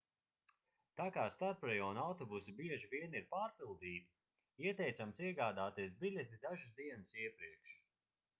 tā kā starprajonu autobusi bieži vien ir pārpildīti ieteicams iegādāties biļeti dažas dienas iepriekš